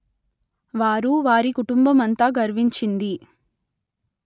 వారు వారి కుటుంబమంతా గర్వించింది